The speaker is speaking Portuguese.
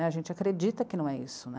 A gente acredita que não é isso.